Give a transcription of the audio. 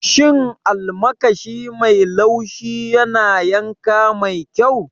Shin almakashi mai laushi yana yanka mai kyau?